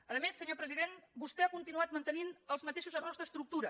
a més senyor president vostè ha continuat mantenint els mateixos errors d’estructura